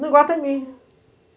No Iguatemi.